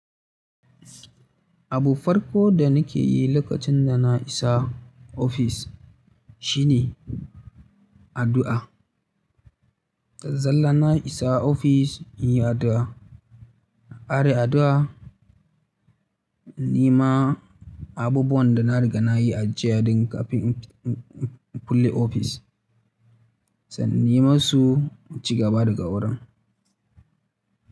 Abu farko da nake yi lokacin da na isa ofis shine addu'a. Da zalla na isa ofis, in yi addu'a. Na ƙare addu'a, na nema abubuwan da na riga na yi ajiya daga kafin in kulle ofis, sannan nema su mu ci gaba da ga wurin.